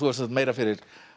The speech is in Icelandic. sagt meira fyrir